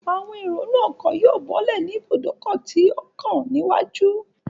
Àwọn èrò inú ọkọ̀ yóò bọ́lẹ̀ ní ibùdókọ̀ tó kàn níwájú